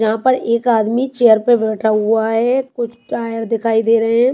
यहां पर एक आदमी चेयर पे बैठा हुआ है कुछ टायर दिखाई दे रहे हैं।